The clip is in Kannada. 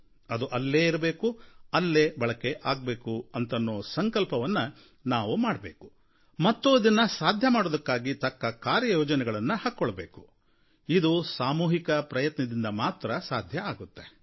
ಅದು ಅಲ್ಲೇ ಇರಬೇಕು ಅಲ್ಲೇ ಬಳಕೆ ಆಗಬೇಕು ಅಂತನ್ನೋ ಸಂಕಲ್ಪವನ್ನು ನಾವು ಮಾಡಬೇಕು ಮತ್ತು ಇದನ್ನು ಸಾಧ್ಯಮಾಡೋದಕ್ಕಾಗಿ ತಕ್ಕ ಕಾರ್ಯಯೋಜನೆಯನ್ನು ಹಾಕಿಕೊಳ್ಳಬೇಕು ಇದು ಸಾಮೂಹಿಕ ಪ್ರಯತ್ನದಿಂದ ಸಾಧ್ಯವಾಗುತ್ತೆ